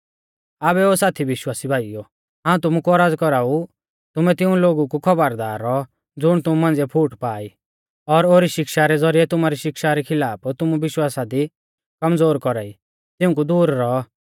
आबै ओ साथी विश्वासी भाईओ हाऊं तुमु कु औरज़ कौराऊ तुमै तिऊं लोगु कु खौबरदार रौऔ ज़ुण तुमु मांझ़िऐ फूट पा ई और ओरी शिक्षा रै ज़ौरिऐ तुमारी शिक्षा री खिलाफ तुमु विश्वासा दी कमज़ोर कौरा ई तिऊंकु दूर रौ